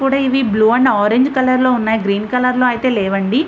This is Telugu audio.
ఇవి కూడా బ్లూ అండ్ ఆరంజ్ కలర్ లో ఉన్నాయి. గ్రీన్ కలర్ లో లేవు అండి.